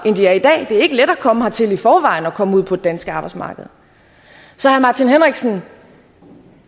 er i dag det er ikke let at komme hertil i forvejen og komme ud på det danske arbejdsmarked så